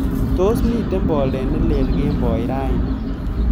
Tos miten boldet nelel kemboi raini